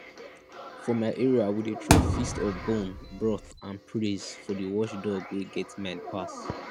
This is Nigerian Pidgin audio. for my area we dey throw feast of bone broth and praise for the watchdog wey get mind pass